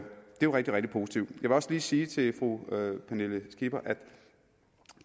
jo rigtig rigtig positivt jeg vil også lige sige til fru pernille skipper